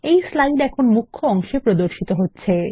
এই স্লাইড এখন মুখ্য অংশে প্রদর্শিত হচ্ছে